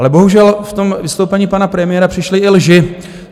Ale bohužel v tom vystoupení pana premiéra přišly i lži.